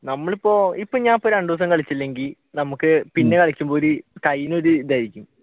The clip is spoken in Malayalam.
നമ്മൾ ഇപ്പൊ ഇപ്പ ഞാൻ രണ്ടു ദിവസം കളിച്ചില്ലെങ്കിൽ നമ്മുക്ക് പിന്നെ കളിക്കുമ്പോഴ് ഒരു കയ്യിനൊരു ഇതായി